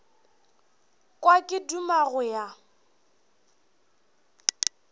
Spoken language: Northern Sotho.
kwa ke duma go ya